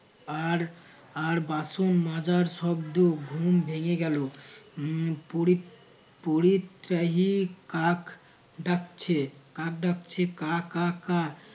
আর আর বাসন মাজার শব্দ ঘুম ভেঙে গেল পরিত~ পরিত্রাহী কাক ডাকছে কাক ডাকছে কা কা